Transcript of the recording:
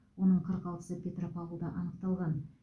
оның қырық алтысы петропавлда анықталған